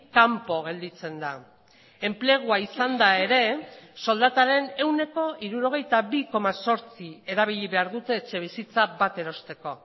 kanpo gelditzen da enplegua izanda ere soldataren ehuneko hirurogeita bi koma zortzi erabili behar dute etxebizitza bat erosteko